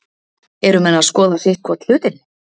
Eru menn að skoða sitthvorn hlutinn?